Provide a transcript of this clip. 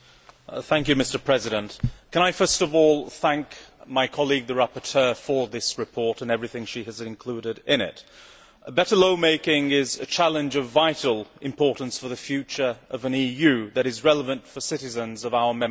Mr President, first of all I should like to thank my colleague the rapporteur for this report and everything she has included in it. Better lawmaking is a challenge of vital importance for the future of an EU that is relevant for citizens of our Member States.